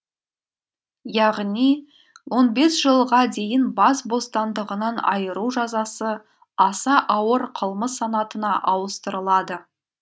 яғни он бес жылға дейін бас бостандығынан айыру жазасы аса ауыр қылмыс санатына ауыстырылады